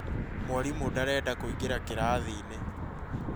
Mwarimũ ndarenda kũingĩra kĩrathiinĩ